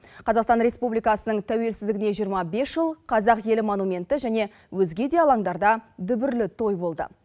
қазақстан республикасының тәуелсіздігіне жиырма бес жыл қазақ елі монументі және өзге де алаңдарда дүбірлі той болды